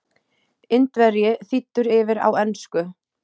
Indverji þýddur yfir á ensku.